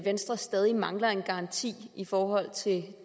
at venstre stadig mangler en garanti i forhold til